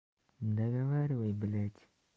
договаривай блять